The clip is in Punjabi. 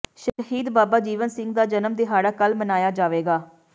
ਸ਼ਹੀਦ ਬਾਬਾ ਜੀਵਨ ਸਿੰਘ ਦਾ ਜਨਮ ਦਿਹਾੜਾ ਕੱਲ੍ਹ ਮਨਾਇਆ ਜਾਵੇਗਾ